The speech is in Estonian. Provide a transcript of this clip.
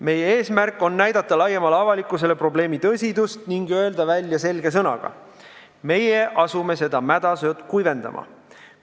Meie eesmärk on näidata laiemale avalikkusele probleemi tõsidust ning öelda selge sõnaga välja, et meie asume seda mädasood kuivendama.